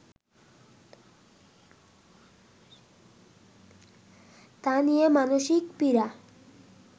তা নিয়ে মানসিক পীড়া